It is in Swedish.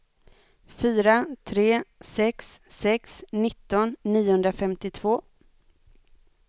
fyra tre sex sex nitton niohundrafemtiotvå